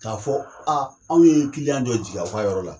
K'a fɔ anw ye dɔ jigin aw ka yɔrɔ la